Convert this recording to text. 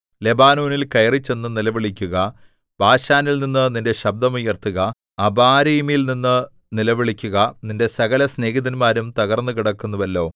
ലെബാനോനിൽ കയറിച്ചെന്നു നിലവിളിക്കുക ബാശാനിൽനിന്നു നിന്റെ ശബ്ദം ഉയർത്തുക അബാരീമിൽനിന്നു നിലവിളിക്കുക നിന്റെ സകലസ്നേഹിതന്മാരും തകർന്നുകിടക്കുന്നുവല്ലോ